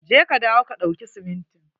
Je ka dawo ka ɗauki simintin.